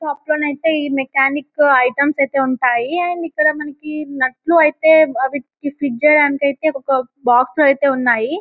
Shop లోనైతే ఈ mechanic items ఐతే ఉంటాయి అండ్ ఇక్కడ మనకి నట్లు ఐతే అవి ఫిట్ చేయడానికైతే బాక్స్ లో అయితే ఉన్నాయి.